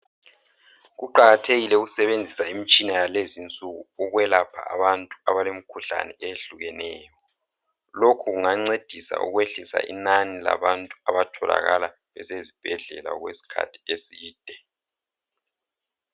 Kuqakathekile usebenzisa imitshina yalezinsuku ukwelapha abantu abalemkhuhlane eyehlukeneyo. Lokhu kungancedisa ukwehlisa inani labantu abatholakala besezibhedlela okwesikhathi eside.